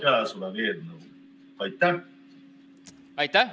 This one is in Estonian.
Aitäh!